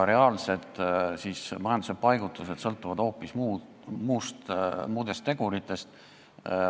Majanduse reaalne paigutus sõltub hoopis muudest teguritest.